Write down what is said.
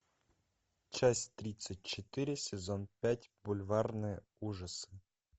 часть тридцать четыре сезон пять бульварные ужасы